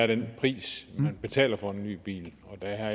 den pris man betaler for en ny bil og der